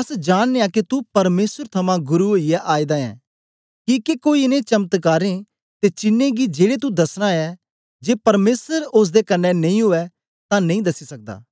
अस जांनयां के तू परमेसर थमां गुरु ओईयै आएदा ऐं किके कोई इनें चमत्कारें दे चीन्ने गी जेड़े तू दसना ऐ जे परमेसर ओसदे कन्ने नेई ऊऐ तां नेई दसी सकदा